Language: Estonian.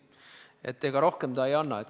Ega ta rohkem ei anna.